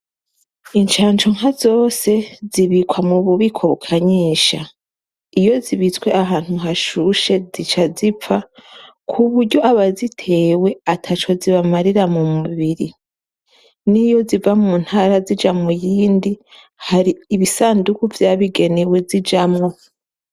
Incancu nkazose zibikwa mu bubiko bukanyisha iyo zibitswe ahantu hashushe zica zipfa ku buryo abazitewe ata co zibamarira mu mubiri n'iyo ziva mu ntara zija mu yindi hari ibisanduku vyabigenewe zijamwo.